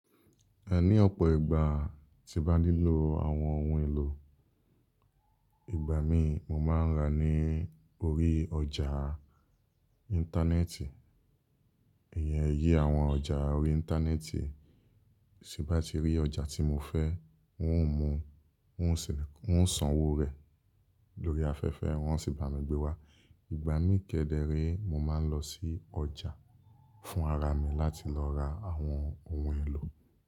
Ẹ ní ọ̀pọ̀ ìgbà tí mo bá nílò àwọn ohun èlò, ìgbà mí mo máa ń rà ní orí ọjà Íńtánẹ́ẹ̀tì. Ìyẹn iye àwọn ọjà orí Íńtánẹ́ẹ̀tì, sí bá ti rí ọjà tí mo fẹ́, wọn ó san owó rẹ̀ lórí afẹ́fẹ́, wọn ó sì bá mi gbé wá. Ìgbà mí ke dẹ́re, mo máa ń lọ sí ọjà fún ara mi láti lọ ra àwọn ohun èlò.